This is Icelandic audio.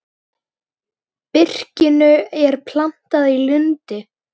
Birkinu er plantað í lundi.